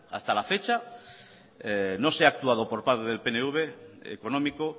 hasta la fecha no se ha actuado por parte del pnv económico